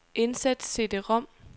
Indsæt cd-rom.